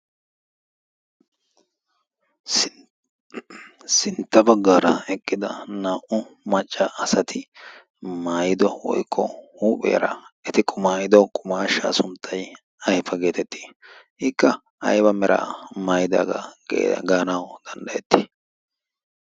sintta baggaara eqqida naa'u macca asati maayido oikqo huupheera eti qumaayido qumaashshaa sunttai aifa geetettii ikka ayba meraa maayidaagaa gaanawu danddayettii?